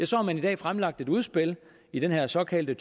så har man i dag fremlagt et udspil i den her såkaldte